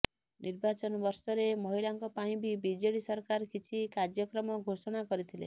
ନିର୍ବାଚନ ବର୍ଷରେ ମହିଳାଙ୍କ ପାଇଁ ବି ବିଜେଡି ସରକାର କିଛି କାର୍ଯ୍ୟକ୍ରମ ଘୋଷଣା କରିଥିଲେ